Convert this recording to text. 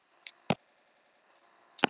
Ég var alltaf að vona að þú kæmir til okkar.